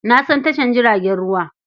Na san tashar jiragen ruwa.